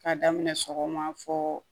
K'a daminɛ sɔgɔma fo